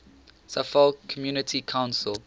suffolk community council